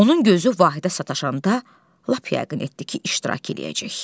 Onun gözü Vahidə sataşanda, lap yəqin etdi ki, iştirak eləyəcək.